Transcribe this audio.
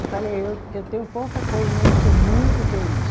Eu falei, eu eu tenho pouca coisa, mas eu sou muito feliz.